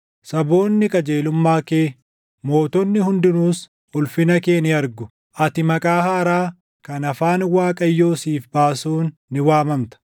Saboonni qajeelummaa kee, mootonni hundinuus ulfina kee ni argu; ati maqaa haaraa, kan afaan Waaqayyoo siif baasuun ni waamamta.